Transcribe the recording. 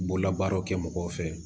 Bololabaaraw kɛ mɔgɔw fɛ